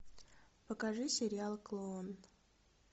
покажи сериал клон